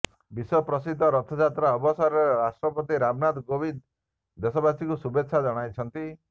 ବିଶ୍ୱ ପ୍ରସିଦ୍ଧ ରଥଯାତ୍ରା ଅବସରରେ ରାଷ୍ଟ୍ରପତି ରାମନାଥ କୋବିନ୍ଦ ଦେଶବାସୀଙ୍କୁ ଶୁଭେଚ୍ଛା ଜଣାଇଛନ୍ତି